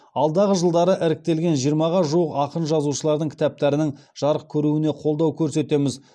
алдағы жылдары іріктелген жиырмаға жуық ақын жазушылардың кітаптарының жарық көруіне қолдау көрсетеміз